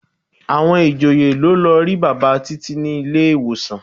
Àwọn ìjòyè ló lọ rí bàbá Títí ní ilé-ìwòsàn.